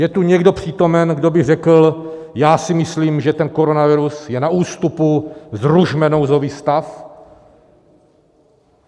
Je tu někdo přítomen, kdo by řekl "já si myslím, že ten koronavirus je na ústupu, zrušme nouzový stav"?